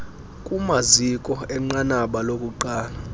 kumaziko enqanaba lokuqala